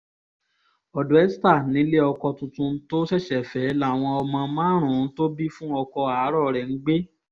ọ̀dọ̀ esther nílé ọkọ̀ tuntun tó ṣẹ̀ṣẹ̀ fẹ́ láwọn ọmọ márààrún-ún tó bí fún ọkọ̀ àárò rẹ̀ ń gbé